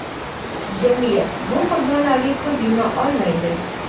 Jamiyat bu qurbonlarga ko‘z yuma olmaydi.